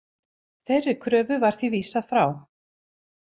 Þeirri kröfu var því vísað frá